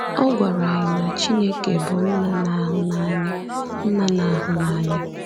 Ọ gwara anyị na Chineke bụ nna na-ahụ n’anya. nna na-ahụ n’anya.